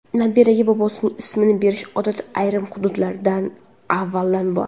Nabiraga bobosining ismini berish odati ayrim hududlarda avvaldan bor.